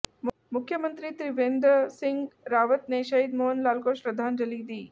मुख्यमंत्री त्रिवेंद्र सिंह रावत ने शहीद मोहन लाल को श्रद्धांजलि दी